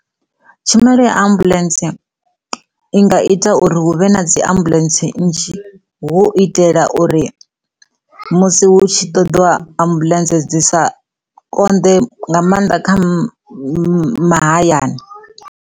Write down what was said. Tshumelo ya ambuḽentse i nga ita uri hu vhe na dzi ambuḽentse nnzhi hu itela uri musi hu tshi ṱoḓIwa ambuḽentse dzi sa konḓe nga maanḓa kha mahayani.